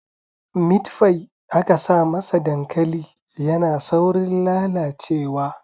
Mitfai aka sa masa dankali yana saurin lalacewa